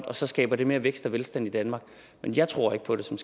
og så skaber det mere vækst og velstand i danmark men jeg tror ikke på det som